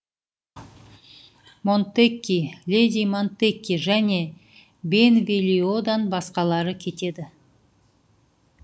монтекки леди монтекки және бенволиодан басқалары кетеді